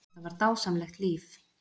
Þetta var dásamlegt líf.